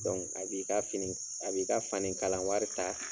Dɔnki a b'i ka fini a b'i ka fani kalan wari ta.